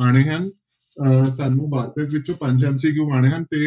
ਆਉਣੇ ਹਨ ਅਹ ਸਾਨੂੰ ਵਾਰਤਕ ਵਿੱਚੋਂ ਪੰਜ MCQ ਆਉਣੇ ਹਨ ਤੇ